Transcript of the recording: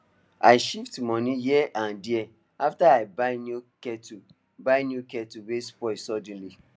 i shift money here and there after i buy new kettle buy new kettle wey spoil sudden